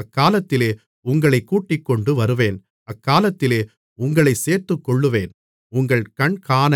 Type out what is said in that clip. அக்காலத்திலே உங்களைக் கூட்டிக்கொண்டு வருவேன் அக்காலத்திலே உங்களைச் சேர்த்துக்கொள்ளுவேன் உங்கள் கண்காண